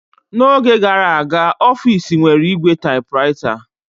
N'oge gara aga, ọfis nwere ígwè typewriter.